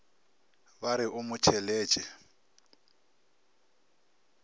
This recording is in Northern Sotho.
ba re o mo tšheletše